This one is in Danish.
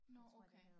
Nå okay